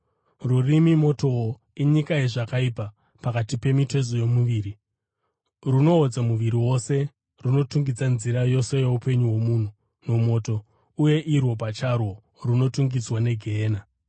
Rurimi motowo, inyika yezvakaipa pakati pemitezo yomuviri. Runoodza muviri wose, runotungidza nzira yose youpenyu hwomunhu nomoto, uye irwo pacharwo runotungidzwa neGehena.